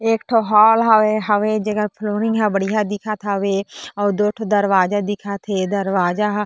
एक ठो हॉल हावे जेकर फ्लोरिंग बढ़िया हावे और दो ठो दरवाजा दिखत हे दरवाजा हा--